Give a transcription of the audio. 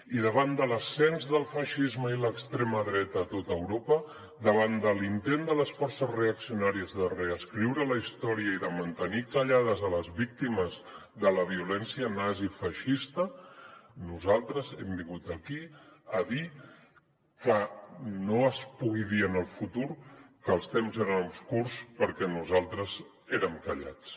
i davant de l’ascens del feixisme i l’extrema dreta a tot europa davant de l’intent de les forces reaccionàries de reescriure la història i de mantenir callades les víctimes de la violència nazi i feixista nosaltres hem vingut aquí a dir que no es pugui dir en el futur que els temps eren obscurs perquè nosaltres érem callats